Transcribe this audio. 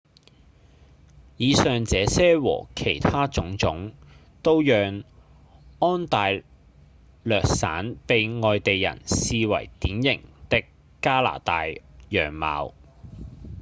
以上這些和其他種種都讓安大略省被外地人視為典型的加拿大樣貌